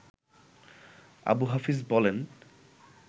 আবু হাফিজ বলেন